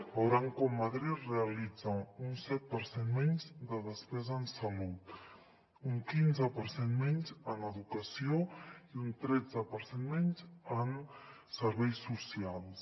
veuran com madrid realitza un set per cent menys de despesa en salut un quinze per cent menys en educació i un tretze per cent menys en serveis socials